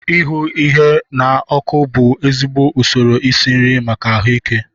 Ihu ihe na ọkụ bù ezigbo ụsoro isi nri maka ahuike